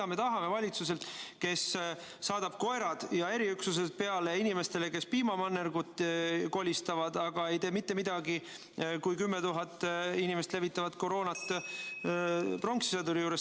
Aga no mida me tahame valitsuselt, kes saadab koerad ja eriüksused peale inimestele, kes piimamannergut kolistavad, aga ei tee mitte midagi, kui 10 000 inimest levitavat koroonat pronkssõduri juures.